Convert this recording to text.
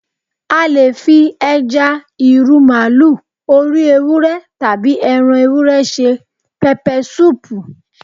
A lè fi, ẹja, ìrù màlúù, orí ewúrẹ́, tàbí ẹran ewúrẹ́ se pẹpẹsúùpù